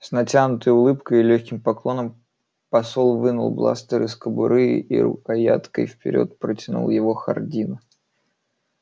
с натянутой улыбкой и лёгким поклоном посол вынул бластер из кобуры и рукояткой вперёд протянул его хардину